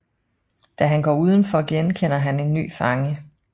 Da han går udenfor genkender han en ny fange